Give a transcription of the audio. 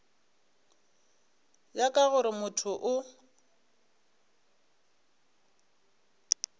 ya ka gore motho o